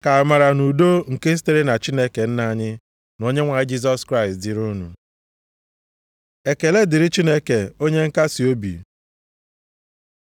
Ka amara na udo nke sitere na Chineke Nna anyị, na Onyenwe anyị Jisọs Kraịst dịrị unu. Ekele dịrị Chineke onye nkasiobi